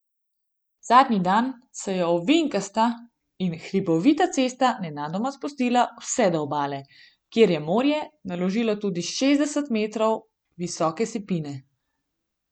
Zadnji dan se je ovinkasta in hribovita cesta nenadoma spustila vse do obale, kjer je morje naložilo tudi šestdeset metrov visoke sipine.